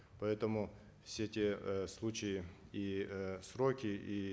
поэтому все те э случаи и э сроки и